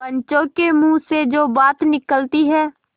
पंचों के मुँह से जो बात निकलती है